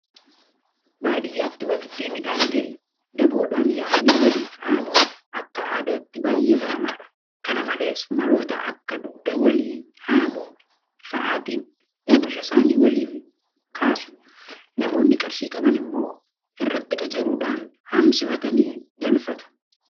Baadiyyaatti waktii midhaan gahe daboodhaan yaa'anii waliif haamuun akka aadaatti baay'ee baramaadha. kana malees maloota akka dugda walii haamuu fa'aatiin oomisha isaanii waliif kaasu. Namoonni qarshii qaban immoo irratti qacaruudhaan haamsifatanii galfatu.